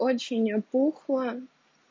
очень опухла